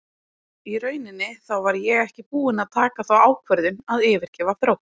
Í rauninni þá var ég ekki búinn að taka þá ákvörðun að yfirgefa Þrótt.